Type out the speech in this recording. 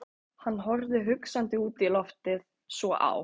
Hann horfði hugsandi út í loftið, svo á